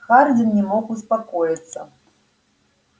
хардин не мог успокоиться